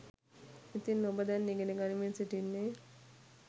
ඉතින් ඔබ දැන් ඉගෙන ගනිමින් සිටින්නේ